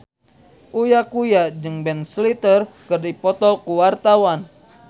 Uya Kuya jeung Ben Stiller keur dipoto ku wartawan